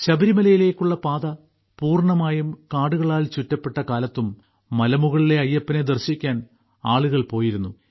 ശബരിമലയിലേക്കുള്ള പാത പൂർണമായും കാടുകളാൽ ചുറ്റപ്പെട്ട കാലത്തും മലമുകളിലെ അയ്യപ്പനെ ദർശിക്കാൻ ആളുകൾ പോയിരുന്നു